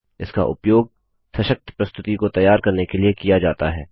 इसका उपयोग सशक्त प्रस्तुति को तैयार करने के लिए किया जाता है